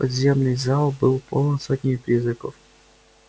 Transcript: подземный зал был полон сотнями призраков